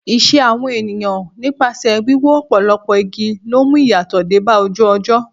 Ìṣe àwọn èèyàn nípasẹ̀ wíwó ọ̀pọ̀lọpọ̀ igi ló ń mú ìyàtọ̀ dé bá ojú ọjọ́.